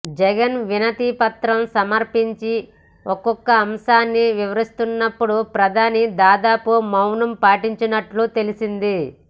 జగన్ వినతి పత్రం సమర్పించి ఒక్కో అంశాన్ని వివరిస్తున్నప్పుడు ప్రధాని దాదాపు మౌనం పాటించినట్టు తెలిసింది